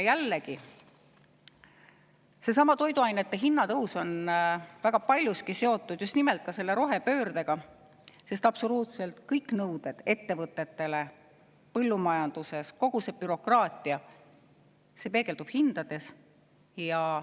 Jällegi, seesama toiduainete hinna tõus on väga paljuski seotud just nimelt rohepöördega, sest absoluutselt kõik nõuded ettevõtetele ja põllumajandusele, kogu see bürokraatia peegeldub hindades.